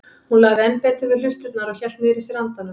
Hún lagði enn betur við hlustirnar og hélt niðri í sér andanum.